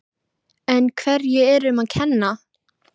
En hverju er um að kenna?